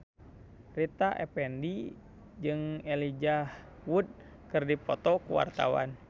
Rita Effendy jeung Elijah Wood keur dipoto ku wartawan